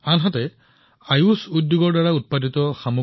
একেদৰে আয়ুষ উদ্যোগৰ বজাৰো ডাঙৰ হৈ আহিছে